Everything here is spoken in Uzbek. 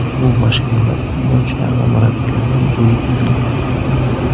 Bu mashinalar futbolchilar va murabbiylarga bo‘lib berilgan.